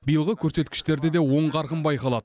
биылғы көрсеткіштерде де оң қарқын байқалады